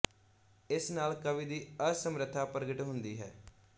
ਇਸ ਨਾਲ ਕਵੀ ਦੀ ਅਸਮਰਥਾ ਪ੍ਰਗਟ ਹੁੰਦੀ ਹੈ